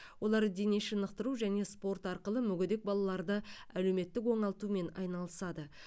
олар дене шынықтыру және спорт арқылы мүгедек балаларды әлеуметтік оңалтумен айналысады